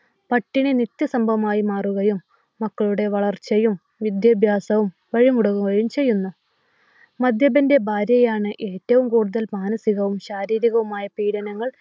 പട്ടിണി നിത്യസംഭവമായി മാറുകയും മക്കളുടെ വളർച്ചയും, വിദ്യാഭ്യാസവും വഴിമുടങ്ങുകയും ചെയ്യുന്നു. മദ്യപന്റെ ഭാര്യയാണ് ഏറ്റവും കൂടുതൽ മാനസികവും ശാരീരികവുമായ പീഡനങ്ങൾ